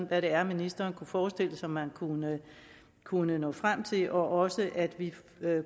hvad det er ministeren kunne forestille sig man kunne kunne nå frem til og også at vi